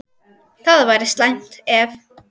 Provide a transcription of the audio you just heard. Það væri slæmt, ef